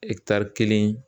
kelen